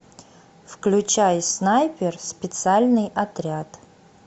включай снайпер специальный отряд